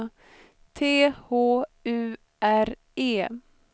T H U R E